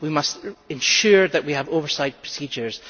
We must ensure that we have oversight procedures.